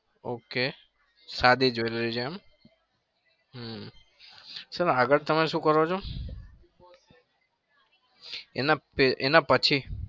ok સાદી જોઈ લઈએ હમ sir આગળ તમે શું કરો છો? એના પે એનાં પછી?